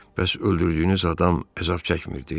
Bəs öldürdüyünüz adam əzab çəkmirdi?